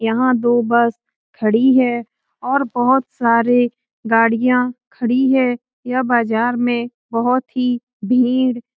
यहाँ दो बस खड़ी है और बहुत सारे गाड़ियाँ खड़ी हैं यह बाज़ार में बहुत ही भीड़ --